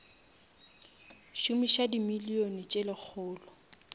šomiša di million tse lekgolo